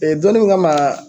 donin min kama